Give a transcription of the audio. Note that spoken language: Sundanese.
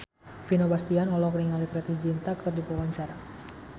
Vino Bastian olohok ningali Preity Zinta keur diwawancara